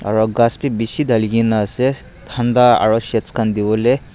aro kas bi bishi tali kina ase tanta aro sheds kan tivo lae.